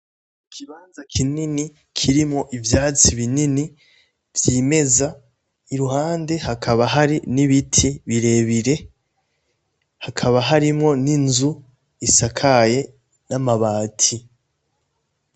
Ikibanza kinini kirimo ivyatsi binini vyimeza i ruhande hakaba hari n'ibiti birebire hakaba harimwo n'inzu isakaye n'amabati.